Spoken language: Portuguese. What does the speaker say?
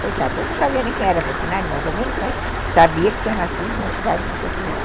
Coitado, ele não sabia nem quem era Portinari, mais ou menos, mas sabia que tinha nascido na cidade de Portinari.